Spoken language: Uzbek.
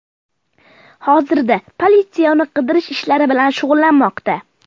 Hozirda politsiya uni qidirish ishlari bilan shug‘ullanmoqda.